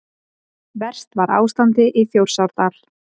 Verst var ástandið í Þjórsárdal.